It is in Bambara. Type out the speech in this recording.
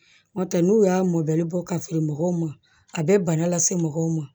N'o tɛ n'u y'a mɔli bɔ ka feere mɔgɔw ma a bɛ bana lase mɔgɔw ma